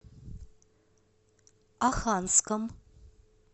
оханском